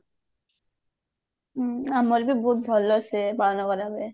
ହୁଁ ଆମର ବି ବହୁତ ଭଲସେ ହୁଏ ପାଳନ କରାଯାଏ